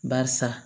Barisa